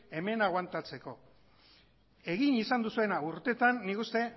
hemen agoantatzeko egin izan duzuena urteetan nik uste